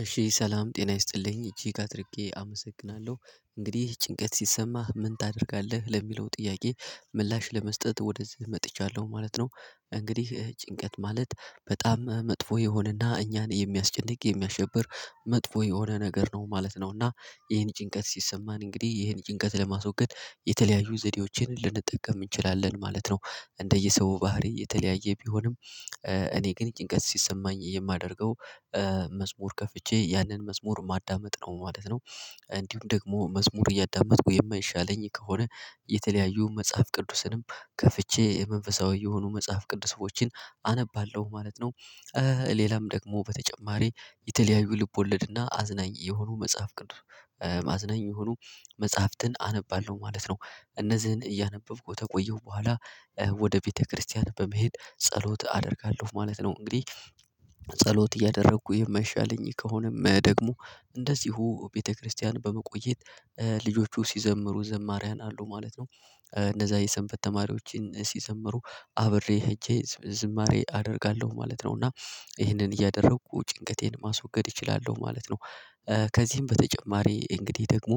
እሺ ሰላም ጤና ይስጥልኝ እጅግ አድርጌ አመሰግናለሁ እንግዲህ ጭንቀት ሲሰማህ ምን ታደርጋለህ ለሚለው ጥያቄ ምላሽ ለመስጠት ወደዚህ መጥቻለሁ ማለት ነው። እንግዲህ ጭንቀት ማለት በጣም መጥፎ የሆነና እኛን የሚያስጨንቅ የሚያሸብር መጥፎ የሆነ ነገር ነው ማለት ነውና ይሄን ጭንቀት ሲሰማን እንግዲህ ይህን ጭንቀት ለማስወገድ የተለያዩ ዘዴዎችን ልንጠቀም እንችላለን ማለት ነው። እንደየሰው ባህሪ የተለያየ ቢሆንም እኔ ግን ጭንቀት ሲሰማኝ የማደርገው መዝሙር ከፍቼ ያንን መዝሙር ማዳመጥ ነው ማለት ነው። እንዲሁም ደግሞ መዝሙር እያዳመጥኩ የማይሻለኝ ከሆነ የተለያዩ መጽሐፍ ቅዱስንም ከፍቼ መንፈሳዊ የሆኑ መጽሐፍ ቅዱስ ሰዎችን አነባለሁ ማለት ነው። ሌላም ደግሞ በተጨማሪ የተለያዩ ልቦለድና አዝናኝ የሆኑ መጽሐፍ ቅዱስ ማዝናኝ የሆኑ መጽሐፍትን አነባለሁ ማለት ነው። እነዚህን እያነበብኩ ከቆየሁ በኋላ ወደ ቤተክርስቲያን በመሄድ ጸሎት አደርጋለሁ ማለት ነው እንግዲህ። ጸሎት እያደረኩ የማይሻለኝ ከሆነም ደግሞ እንደዚሁ ቤተክርስቲያን በመቆየት ልጆቹ ሲዘምሩ ዘማሪያን አሉ ማለት ነው። እነዛ የሰንበት ተማሪዎችን ሲዘምሩ አብሬ ሄጄ ዝማሬ አደርጋለሁ ማለት ነው እና ይህንን እያደረኩ ጭንቀቴን ማስወገድ እችላለሁ ማለት ነው። ከዚህም በተጨማሪ እንግዲህ ደግሞ